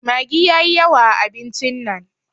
Maggi yayi yawa a abincin nan.